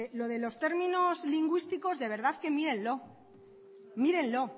lo de los términos lingüísticos de verdad que mírenlo mírenlo